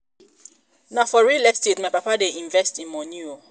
na for real estate my papa dey invest im moni o.